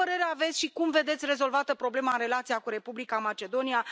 Ce părere aveți și cum vedeți rezolvată problema în relația cu Republica Macedonia?